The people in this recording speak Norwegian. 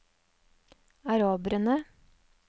araberne